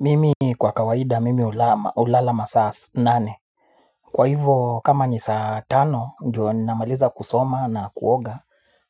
Mimi kwa kawaida mimi hulala masaa nane. Kwa hivyo kama ni saa tano ndiyo namaliza kusoma na kuoga.